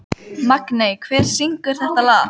Magney, hver syngur þetta lag?